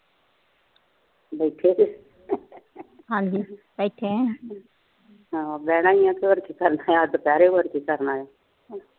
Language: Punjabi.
ਹਨ ਬਹਿਣਾ ਹੀ ਆ ਹੋਰ ਕੀ ਕਰਨਾ ਦੁਪਹਿਰੇ ਹੋਰ ਕੀ ਕਰਨਾ ਆ